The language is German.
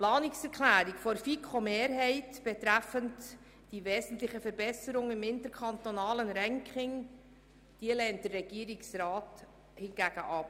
Die Planungserklärung der FiKo-Mehrheit betreffend «die wesentliche Verbesserung im interkantonalen Ranking» lehnt der Regierungsrat hingegen ab.